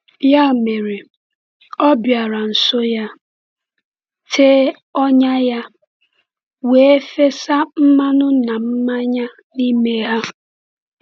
Ya mere, ọ bịara nso ya, tee ọnya ya, wee fesa mmanụ na mmanya n’ime ha.